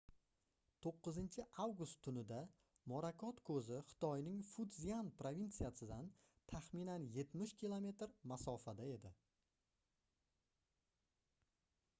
9-avgust tunida morakot koʻzi xitoyning futzyan provinsiyasidan taxminan yetmish kilometr masofada edi